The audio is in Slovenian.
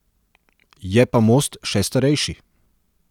Je pa most še starejši.